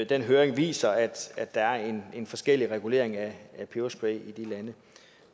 den høring viser at der er en en forskellig regulering af peberspray i de lande